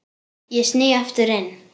Ég sný aftur inn.